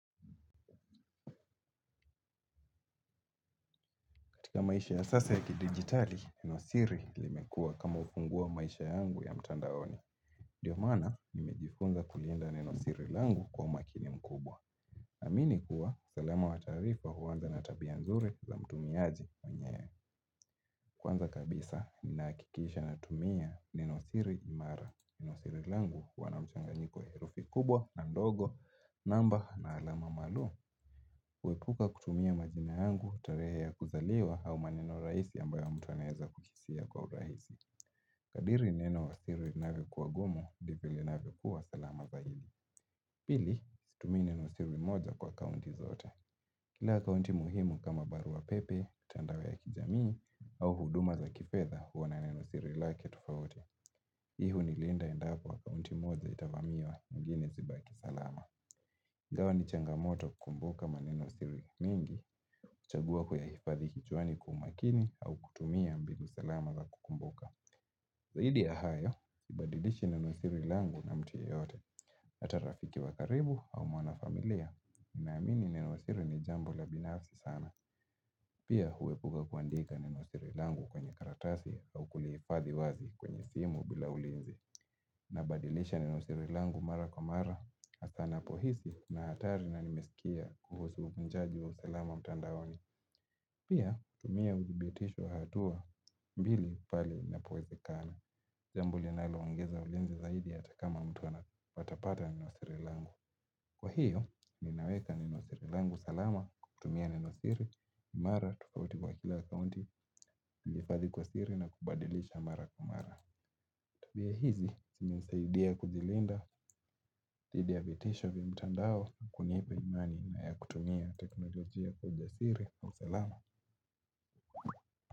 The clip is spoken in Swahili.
Katika maisha ya sasa ya kidigitali, nenosiri limekua kama ufunguo wa maisha yangu ya mtandaoni. Ndiomana nimejifunza kulinda nenosiri langu kwa umakini mkubwa. Amini kuwa, sualama wataarifa huanza natabia nzuri za mtumiaji mwenyewe kwanza kabisa ninahakikisha natumia nenosiri imara. Nenosiri langu huwa na mchanganyiko wa herufi kubwa na ndogo, namba na alama maalumu. Huepuka kutumia majina yangu tarehe ya kuzaliwa au maneno rahisi ambayo mtu anaweza kukisia kwa urahisi kadiri neno hili linavyokua gumu ndivyo linavyokua salama zaidi pili situmii nenosiri moja kwa akaunti zote. Kila akaunti muhimu kama barua pepe, mitandao ya kijamii au huduma za kifedha huwa na neno siri lake tofauti hii huni linda endapo akaunti moja itavamiwa nyingine zibaki salama ingawa ni changamoto kukumbuka manenosiri mengi huchagua kuyahifadhi kichwani kwa umakini au kutumia mbinu salama za kukumbuka. Zaidi yahayo, sibadilishi neno siri langu na mtu yeyote, hata rafiki wakaribu au mwana familia. Ninaamini neno siri ni jambo la binafsi sana, pia huepuka kuandika neno siri langu kwenye karatasi au kulihifadhi wazi kwenye simu bila ulinzi. Na badilisha ni nenosiri langu mara kwa mara hasa napohisi nahatari na nimesikia kuhusu uvujaji wa usalama mtandaoni. Pia tumia uthibitisho wa hatua mbili pale inapowezekana jambo linaloongeza ulinzi zaidi hata kama mtu atapata nenosiri langu. Kwahiyo ninaweka nenosiri langu salama kwa kutumia nenosiri. Mara tofauti kwa kila akaunti nahifadhi kwa siri na kubadilisha mara kwa mara. Tabia hizi, sinasaidia kujilinda, dhidi ya vitisho vya mtandao, kunipa imani na ya kutumia teknolojia kwa ujasiri. Na usalama.